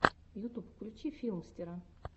ютуб включи филмстера